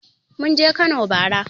Mun je Kano bara.